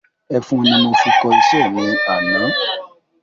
Ẹfun ni mo fi kọ iṣẹ́ mi ní àná